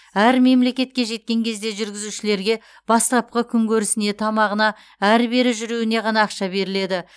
әр мемлекетке жеткен кезде жүргізушілерге бастапқы күнкөрісіне тамағына ары бері жүруіне ғана ақша беріледі